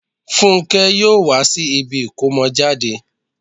Fúnkẹ́ yóò wá sí ibi ìkómọjáde